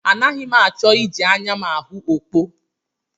Anaghị m achọ iji anya m ahụ okpo